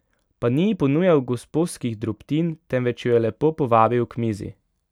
Pa ni ji ponujal gosposkih drobtin, temveč jo je lepo povabil k mizi.